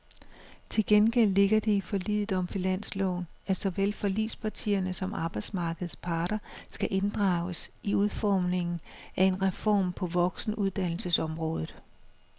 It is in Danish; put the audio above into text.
Til gengæld ligger det i forliget om finansloven, at såvel forligspartierne som arbejdsmarkedets parter skal inddrages i udformningen af en reform på voksenuddannelsesområdet.